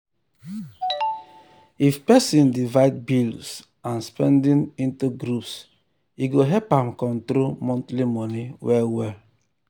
if person divide bills and spending into groups e go help am control monthly money well well.